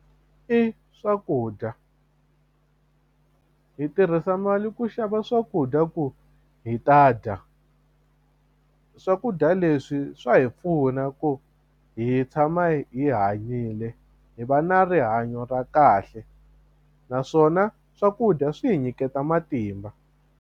I swakudya hi tirhisa mali ku xava swakudya ku hi ta dya swakudya leswi swa hi pfuna ku hi tshama hi hanyile hi va na rihanyo ra kahle naswona swakudya swi hi nyiketa matimba.